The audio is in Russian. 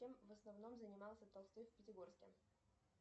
чем в основном занимался толстой в пятигорске